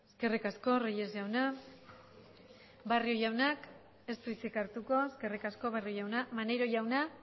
eskerrik asko reyes jauna barrio jaunak ez du hitzik hartuko eskerrik asko barrio jauna maneiro jauna